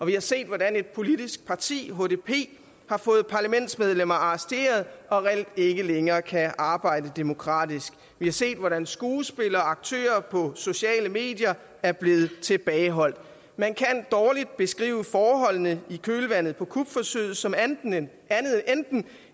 vi har set hvordan et politisk parti hdp har fået parlamentsmedlemmer arresteret og reelt ikke længere kan arbejde demokratisk vi har set hvordan skuespillere aktører på sociale medier er blevet tilbageholdt man kan dårligt beskrive forholdene i kølvandet på kupforsøget som andet end enten